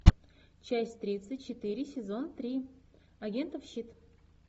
часть тридцать четыре сезон три агентов щит